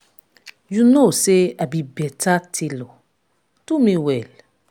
the girl wey girl wey dey make my hair dey come my house